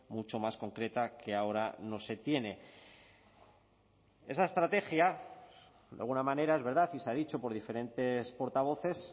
mucho más concreta que ahora no se tiene esa estrategia de alguna manera es verdad y se ha dicho por diferentes portavoces